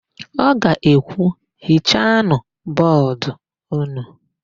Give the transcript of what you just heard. Ọ ga-ekwu, "hichanụ bọọdụ ụnụ"!